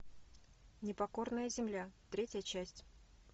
непокорная земля третья часть